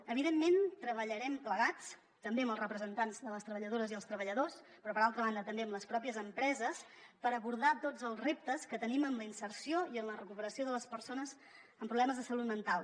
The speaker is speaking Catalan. evidentment treballarem plegats també amb els representants de les treballadores i els treballadors però per altra banda també amb les pròpies empreses per abordar tots els reptes que tenim en la inserció i en la recuperació de les persones amb problemes de salut mental